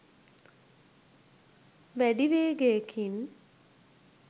වැඩි වේගයකින්